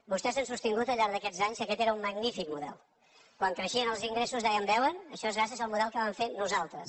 vostès han sostingut al llarg d’aquests anys que aquest era una magnífic model quan creixien els ingressos deien veuen això és grà·cies al model que vam fer nosaltres